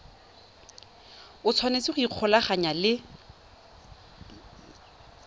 o tshwanetse go ikgolaganya le